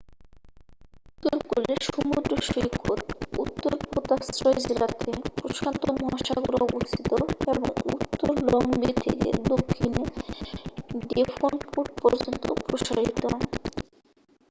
উত্তরকূলের সমুদ্র সৈকত উত্তর পোতাশ্রয় জেলাতে প্রশান্ত মহাসাগরে অবস্থিত এবং উত্তরে লং বে থেকে দক্ষিণে ডেভনপোর্ট পর্যন্ত প্রসারিত।